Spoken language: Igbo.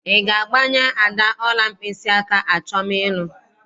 Ị ga-agbanye Ada ọla mkpịsịaka achọm ịlụ?